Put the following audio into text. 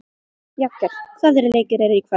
Jagger, hvaða leikir eru í kvöld?